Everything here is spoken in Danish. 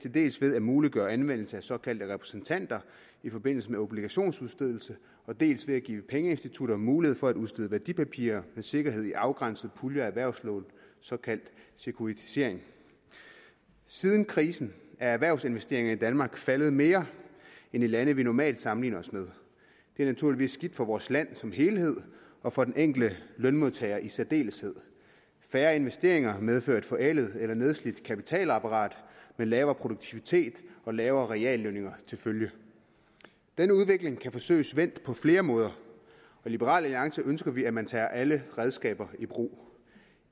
til dels ved at muliggøre anvendelse af såkaldte repræsentanter i forbindelse med obligationsudstedelse dels ved at give pengeinstitutter mulighed for at udstede værdipapirer med sikkerhed i afgrænsede puljer af erhvervslån såkaldt sekuritisering siden krisen er erhvervsinvesteringer i danmark faldet mere end i lande vi normalt sammenligner os med det er naturligvis skidt for vores land som helhed og for den enkelte lønmodtager i særdeleshed færre investeringer medfører et forældet eller nedslidt kapitalapparat med lavere produktivitet og lavere reallønninger til følge den udvikling kan forsøges vendt på flere måder i liberal alliance ønsker vi at man tager alle redskaber i brug